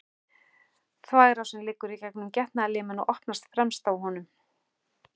Þvagrásin liggur í gegnum getnaðarliminn og opnast fremst á honum.